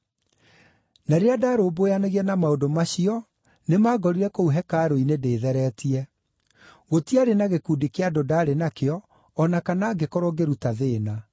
Na rĩrĩa ndarũmbũyanagia na maũndũ macio nĩmangorire kũu hekarũ-inĩ ndĩtheretie. Gũtiarĩ na gĩkundi kĩa andũ ndaarĩ na kĩo, o na kana ngĩkorwo ngĩruta thĩĩna.